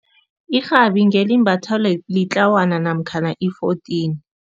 Irhabi ngelimbathwa litlwana namkhana i-fourteen.